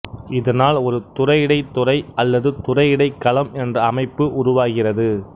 இதனால் ஒரு துறையிடைத் துறை அல்லது துறையிடை களம் என்ற அமைப்பு உருவாகிறது